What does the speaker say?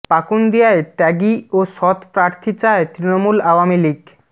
পাকুন্দিয়ায় ত্যাগী ও সৎ প্রার্থী চায় তৃণমূল আওয়ামী লীগ